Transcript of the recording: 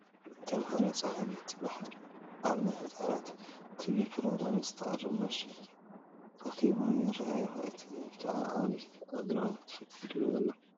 ተመሃሮ ፀሃይ ንትበሃል ኣብ ናይ ህፃናት ናይ ቴለብዥን ፕሮግራም ንትቐርብ ማስክ ከቢቦም ይርእይዋ ኣለዉ፡፡ እዚ ከዓ ዓብዪ ኣግራሞት ፈጢሩሎም ኣሎ፡፡